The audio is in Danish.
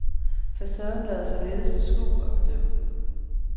Facaden lader sig lettest beskue og bedømme.